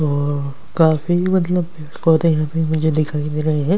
तो काफी मतलब पौधे यहां पे मुझे दिखाई दे रहे है।